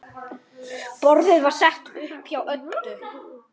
Því svaraði Oddur engu.